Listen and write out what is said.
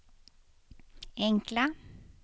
enkla